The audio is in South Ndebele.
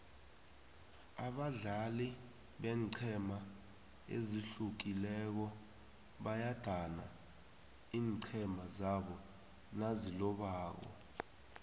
abadlali beenqhema ezihlukileko bayadana iinqhema zabo nazilobako